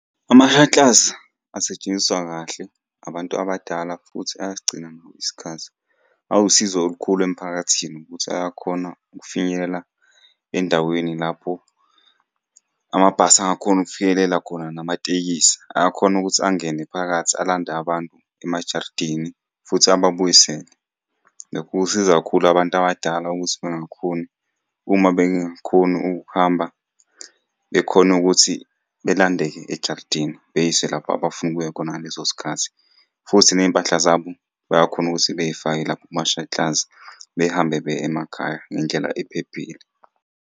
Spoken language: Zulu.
Ama-shuttles asetshenziswa kahle abantu abadala futhi ayasigcina nawo isikhathi. Awusizo olukhulu emphakathini ukuthi ayakhona ukufinyelela endaweni lapho amabhasi angakhoni ukufinyelela khona namatekisi. Ayakhona ukuthi angene phakathi alande abantu emajaridini futhi ababuyisele. Lokhu kusiza kakhulu abantu abadala ukuthi bengakhoni, uma bengakhoni ukuhamba bekhone ukuthi belandeke ejaridini beyiswe lapha abafuna ukuya khona ngaleso sikhathi, futhi ney'mpahla zabo bayakhona ukuthi bey'fake lapho kumashakilazi behambe beye emakhaya ngendlela ephephile.